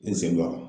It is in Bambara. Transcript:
N sewa